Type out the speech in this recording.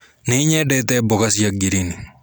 Nĩnyendete mboga cia ngirini.